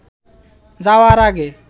যাওয়ার আগে